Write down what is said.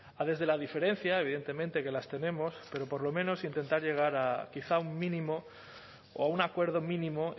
a desde la diferencia evidentemente que las tenemos pero por lo menos intentar llegar a quizá un mínimo o un acuerdo mínimo